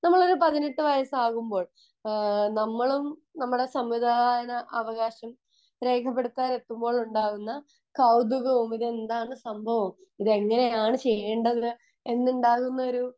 ഒരു പതിനെട്ട് വയസ്സാവുമ്പോൾ നമ്മളും നമ്മളെ സമ്മതിദാനാവകാശം രേഖപ്പെടുത്താൻ എത്തുമ്പോൾ ഉണ്ടാവുന്ന കൗതുകവും ഇത് എന്താണ് സംഭവം എന്താണ് ചെയ്യേണ്ടത് എന്നുള്ളൊരു